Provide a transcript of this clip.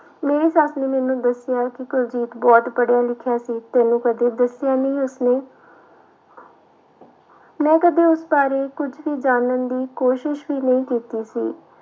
ਮੇਰੀ ਸੱਸ ਨੇ ਮੈਨੂੰ ਦੱਸਿਆ ਕਿ ਕੁਲਜੀਤ ਬਹੁਤ ਪੜ੍ਹਿਆ ਲਿਖਿਆ ਸੀ ਤੈਨੂੰ ਕਦੇ ਦੱਸਿਆ ਨੀ ਉਸਨੇ ਮੈਂ ਕਦੇ ਉਸ ਬਾਰੇ ਕੁਛ ਵੀ ਜਾਣਨ ਦੀ ਕੋਸ਼ਿਸ਼ ਵੀ ਨਹੀਂ ਕੀਤੀ ਸੀ।